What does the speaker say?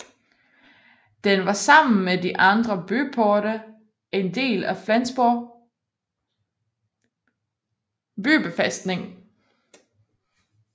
Den var sammen med de andre byporte en del af Flensborg bybefæstning